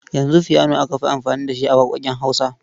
Yanzu fiyano aka fi amfani da shi a waƙoƙin Hausa.